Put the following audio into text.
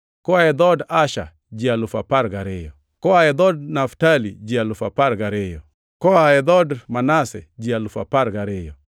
Koa e dhood Asher ji alufu apar gariyo (12,000), Koa dhood Naftali ji alufu apar gariyo (12,000), Koa dhood Manase ji alufu apar gariyo (12,000),